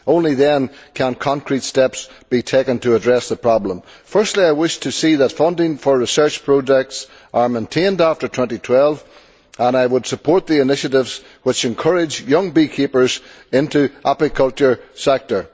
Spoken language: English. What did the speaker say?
Only then can concrete steps be taken to address the problem. Firstly, I wish to see that funding for research projects is maintained after 2012, and I would support the initiatives which encourage young beekeepers into the apiculture sector.